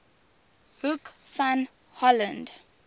hoek van holland